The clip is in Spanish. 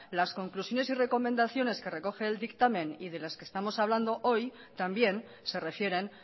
las conclusiones y recomendaciones que recogen el dictamen y de las que estamos hablando hoy también se refieren